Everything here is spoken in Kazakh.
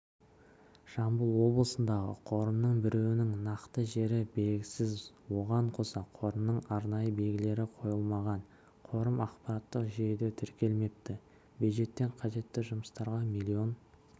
жамбыл облысындағы қорымның біреуінің нақты жері белгісіз оған қоса қорымның арнайы белгілері қойылмаған қорым ақпараттық жүйеде тіркелмепті бюджеттен қажетті жұмыстарға млн